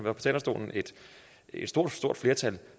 et stort stort flertal